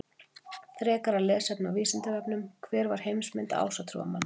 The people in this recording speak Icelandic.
Frekara lesefni á Vísindavefnum: Hver var heimsmynd ásatrúarmanna?